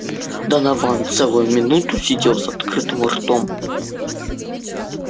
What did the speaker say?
донован целую минуту сидел с открытым ртом